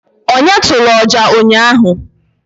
onye turu ọjà ụnyahụ